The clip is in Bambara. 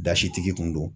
Dasitigi kun do